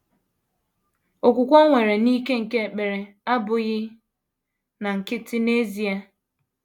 Okwukwe o nwere n’ike nke ekpere abụghị na nkịtị n’ezie.